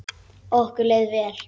Okkur leið vel.